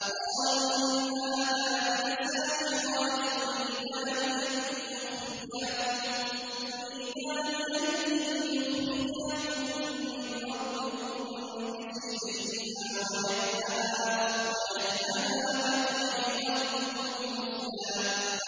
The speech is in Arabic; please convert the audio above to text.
قَالُوا إِنْ هَٰذَانِ لَسَاحِرَانِ يُرِيدَانِ أَن يُخْرِجَاكُم مِّنْ أَرْضِكُم بِسِحْرِهِمَا وَيَذْهَبَا بِطَرِيقَتِكُمُ الْمُثْلَىٰ